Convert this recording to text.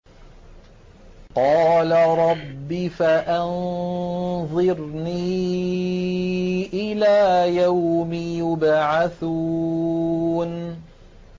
قَالَ رَبِّ فَأَنظِرْنِي إِلَىٰ يَوْمِ يُبْعَثُونَ